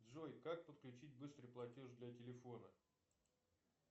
джой как подключить быстрый платеж для телефона